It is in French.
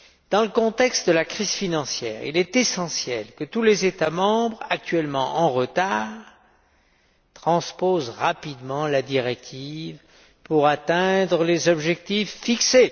Dans le contexte de la crise financière, il est essentiel que tous les États membres actuellement en retard transposent rapidement la directive pour atteindre les objectifs fixés.